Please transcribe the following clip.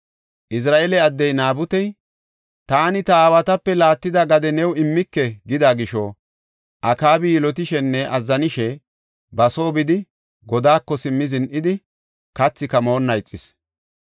Izira7eele addey Naabutey, “Taani ta aawatape laattida gade new immike” gida gisho, Akaabi yilotishenne azzanishe ba soo bidi, godaako simmi zin7idi, kathika moonna ixis.